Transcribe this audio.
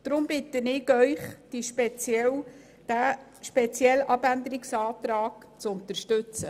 Deshalb bitte ich Sie, diesen Abänderungsantrag zu unterstützen.